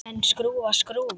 En skrúfa skrúfu?